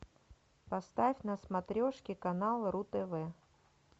поставь на смотрешке канал ру тв